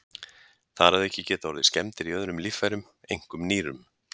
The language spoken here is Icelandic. Þar að auki geta orðið skemmdir í öðrum líffærum, einkum nýrum.